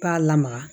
B'a lamaga